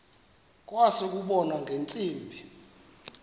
kwase kubonwa ngeentsimbi